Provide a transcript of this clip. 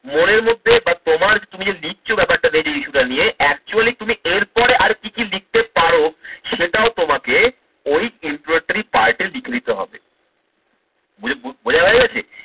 মনের মধ্যে বা তোমার যে তুমি যে লিখছো ব্যাপারটা দেবে যে issue টা নিয়ে actually তুমি এরপরে আর কি কি লিখতে পারো সেটাও তোমাকে ওই introductory part এ লিখে নিতে হবে। বুজে বোঝা হয়ে গেছে?